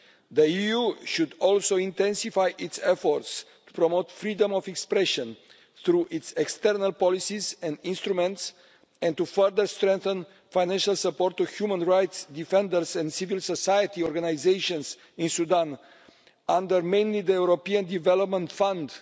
The EU should also intensify its efforts to promote freedom of expression through its external policies and instruments and to further strengthen financial support to human rights defenders and civil society organisations in Sudan, mainly under the European Development Fund.